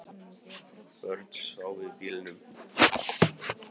Börnin sváfu í bílnum